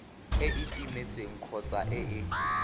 e timetseng kgotsa e e